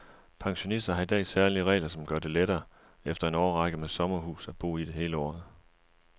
Pensionister har i dag særlige regler, som gør det lettere efter en årrække med sommerhus at bo i det hele året.